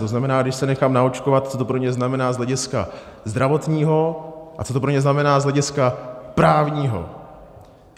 To znamená, když se nechám naočkovat, co to pro mě znamená z hlediska zdravotního a co to pro mě znamená z hlediska právního.